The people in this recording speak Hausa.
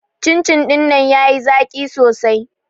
Cin-cin ɗinnan ya yi zaƙi sosai